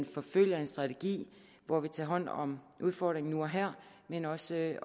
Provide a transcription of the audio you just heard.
forfølger en strategi hvor vi tager hånd om udfordringen nu og her men også i